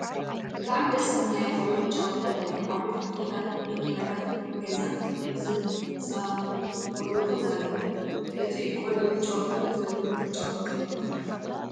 ብጣዕሚ ደስ ዝብል ናይ ቆልዑት መጫወቲ ቦታ እዩ። ዓበይቲ ተክልታትን መኪናታትን ገዛንዝፃወቱነ ቆልዑት እውን ኣለው። እቱይ ቆልዑት ዝጫወትሉ ዘለው መጫወቲ እንታይ ይብሃል?